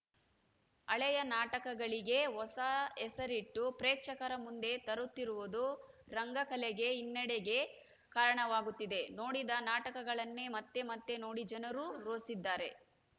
ಹಳೆಯ ನಾಟಕಗಳಿಗೇ ಹೊಸ ಹೆಸರಿಟ್ಟು ಪ್ರೇಕ್ಷಕರ ಮುಂದೆ ತರುತ್ತಿರುವುದು ರಂಗಕಲೆಗೆ ಹಿನ್ನಡೆಗೆ ಕಾರಣವಾಗುತ್ತಿದೆ ನೋಡಿದ ನಾಟಕಗಳನ್ನೇ ಮತ್ತೆ ಮತ್ತೆ ನೋಡಿ ಜನರೂ ರೋಸಿದ್ದಾರೆ